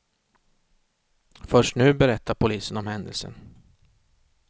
Först nu berättar polisen om händelsen.